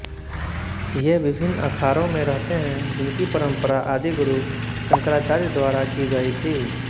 ये विभिन्न अखाड़ों में रहते हैं जिनकी परम्परा आदिगुरु शंकराचार्य द्वारा की गयी थी